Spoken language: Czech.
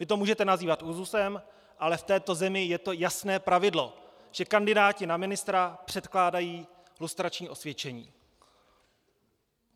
Vy to můžete nazývat úzusem, ale v této zemi je to jasné pravidlo - že kandidáti na ministra předkládají lustrační osvědčení.